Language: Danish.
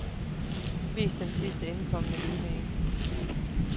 Vis den sidst indkomne e-mail.